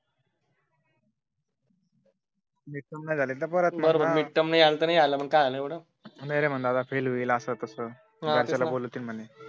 नाही आलं तर नाही आला मग काय झालं नाहीरे म्हणे फेल होईल असं तस घरच्यांना बोलावतील म्हणे